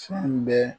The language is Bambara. Fɛn bɛɛ